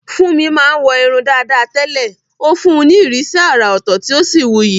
Funmi máa ń wọ irun dàda tẹ́lẹ̀, ó fún un ní ìrísí àrà ọ̀tọ̀ tí ó sì wuyì.